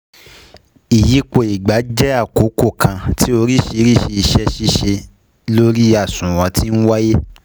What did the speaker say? Ìyípo ìgbà jẹ́ àkókò kan tí oríṣiríṣi ise sise lori àsùnwòn ti ńwáyé